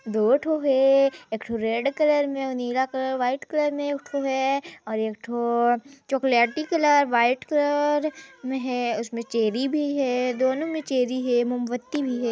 --दो ठो है एक ठो रेड कलर में और नीला कलर व्हाइट कलर में एक ठो है और एक ठो चॉकलेटी कलर व्हाइट कलर में है उसमें चेरी भी है दोनों में चेरी है मोमबत्ती भी है।